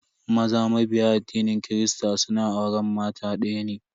Maza mabiya addinin kirista suna auren mata daya ne.